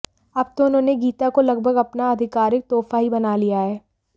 अब तो उन्होंने गीता को लगभग अपना आधिकारिक तोहफा ही बना लिया है